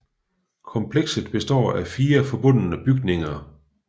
Komplekset består af fire forbundne bygninger